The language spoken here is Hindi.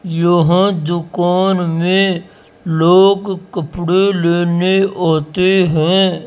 यहां दुकान में लोग कपड़े लेने आते हैं।